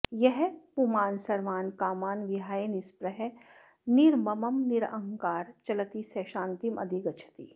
यः पुमान् सर्वान् कामान् विहाय निःस्पृहः निर्ममः निरहङ्कारः चलति सः शान्तिम् अधिगच्छति